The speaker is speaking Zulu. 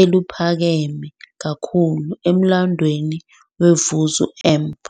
eliphakeme kakhulu emlandweni we-Vuzo Amp.